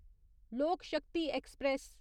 लोक शक्ति ऐक्सप्रैस